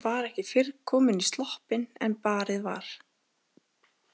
Var ekki fyrr komin í sloppinn en barið var.